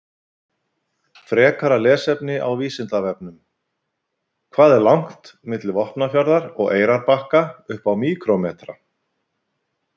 Heldur hann virkilega ekki að þeir geti sjálfir borgað fyrir frí?